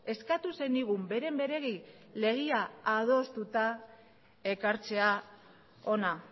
eskatu zenigun beren beregi legea adostuta ekartzea hona